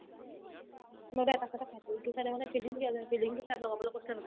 মই যে এটা side য়ে খাই থাকো ইটো side য়ে মানে filling দিয়া যায় filling তো side লগাবলে কৈছিলে নহয়